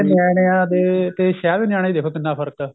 ਨਿਆਣਿਆਂ ਦੇ ਤੇ ਸ਼ਹਿਰ ਦੇ ਨਿਆਣੇ ਚ ਦੇਖੋ ਕਿੰਨਾ ਫਰਕ ਏ